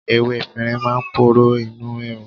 Ewé efinrin máa ń poró inú rírun.